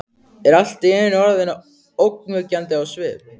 Er allt í einu orðin ógnvekjandi á svip.